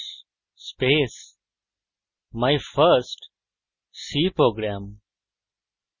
my first c program